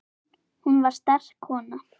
Hún var sterk kona.